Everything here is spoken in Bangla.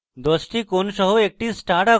10 টি কোণ সহ একটি star আঁকুন